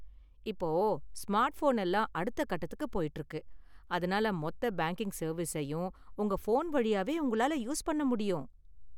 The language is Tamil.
இப்போ ஸ்மார்ட்ஃபோன் எல்லாம் அடுத்த கட்டத்துக்கு போயிட்டு இருக்கு, அதனால மொத்த பேங்கிங் சர்வீஸயும் உங்க ஃபோன் வழியாவே உங்களால யூஸ் பண்ண முடியும்.